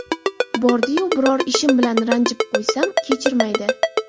Bordi-yu biror ishim bilan ranjitib qo‘ysam, kechirmaydi.